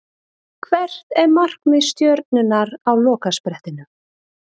Hvert er markmið Stjörnunnar á lokasprettinum?